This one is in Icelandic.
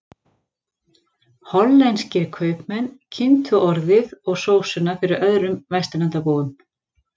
Hollenskir kaupmenn kynntu orðið og sósuna fyrir öðrum Vesturlandabúum.